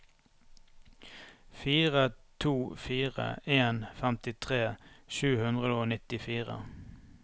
fire to fire en femtitre sju hundre og nittifire